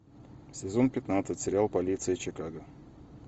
сезон пятнадцать сериал полиция чикаго